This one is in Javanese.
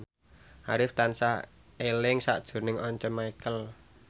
Arif tansah eling sakjroning Once Mekel